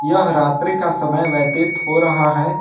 यह रात्रि का समय व्यतीत हो रहा है।